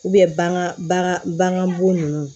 bagan bo nunnu